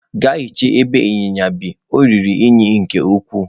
Gaa hichaa ebe inyinya bi, ọ ruru unyi nke ukwuu!